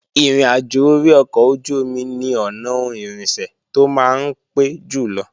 Ìrìnàjò orí ọkọ̀ ojú-omi ni ọ̀nà ohun irinṣẹ́ tó máa ń pé jùlọ